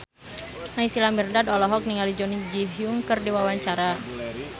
Naysila Mirdad olohok ningali Jun Ji Hyun keur diwawancara